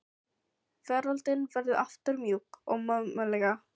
Veröldin verður aftur mjúk og mömmuleg.